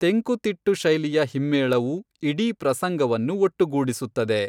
ತೆಂಕುತಿಟ್ಟು ಶೈಲಿಯ ಹಿಮ್ಮೇಳವು ಇಡೀ ಪ್ರಸಂಗವನ್ನು ಒಟ್ಟುಗೂಡಿಸುತ್ತದೆ.